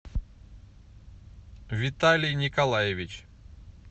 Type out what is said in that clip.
виталий николаевич